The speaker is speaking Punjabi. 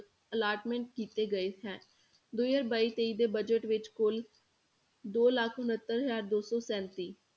Allotment ਕੀਤੇ ਗਏ ਹੈ, ਦੋ ਹਜ਼ਾਰ ਬਾਈ ਤੇਈ ਦੇ budget ਵਿੱਚ ਕੁੱਲ ਦੋ ਲੱਖ ਉਣਤਰ ਹਜ਼ਾਰ ਦੋ ਸੌ ਸੈਂਤੀ